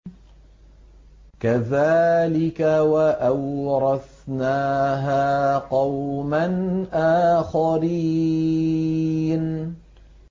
كَذَٰلِكَ ۖ وَأَوْرَثْنَاهَا قَوْمًا آخَرِينَ